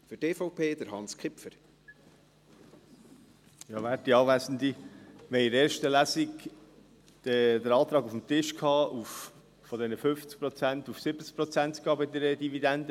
Wir hatten in der ersten Lesung den Antrag auf dem Tisch, bei der Dividendenbesteuerung von 50 Prozent auf 70 Prozent zu gehen.